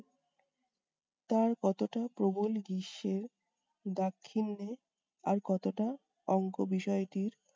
তার কতটা প্রবল গ্রীষ্মের দাক্ষিণ্যে আর কতটা অংক বিষয়টির